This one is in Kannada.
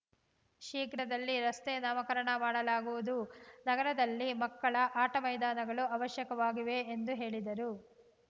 ಶೀಘ್ರದಲ್ಲಿ ರಸ್ತೆ ನಾಮಕರಣ ಮಾಡಲಾಗುವುದು ನಗರದಲ್ಲಿ ಮಕ್ಕಳ ಆಟ ಮೈದಾನಗಳು ಅವಶ್ಯಕವಾಗಿವೆ ಎಂದು ಹೇಳಿದರು